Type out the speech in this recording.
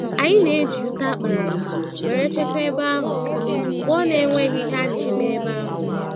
Anyị na-eji ute akpara akpa wéré chekwa ebe ahụ mgbe ọ nenweghi ihe a némè' ebe ahụ